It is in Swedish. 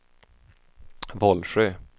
Vollsjö